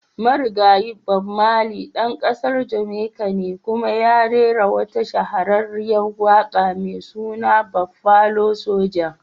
Marigayi. Bob marley dan kasar Jamaica ne kuma ya rera wata shahararriyar waka mai suna "Buffalo soja"."